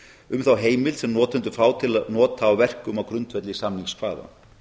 um þá heimild sem notendur fá til nota á verkum á grundvelli samningskvaða